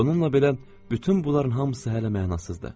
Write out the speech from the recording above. Bununla belə bütün bunların hamısı hələ mənasızdır.